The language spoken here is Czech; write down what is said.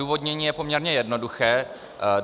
Odůvodnění je poměrně jednoduché.